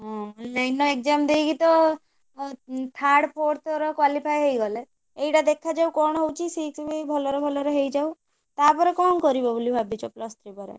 ହଁ online ର exam ଦେଇକି ତ ଅଁ ଉଁ third fourth ର qualify ହେଇଗଲେ ଏଇଟା ଦେଖାଯାଉ କଣ ହଉଛି? six ବି ଭଲରେ ଭଲରେ ହେଇଯାଉ ତାପରେ କଣ କରିବ? ବୋଲି ଭାବିଛ plus three ପରେ?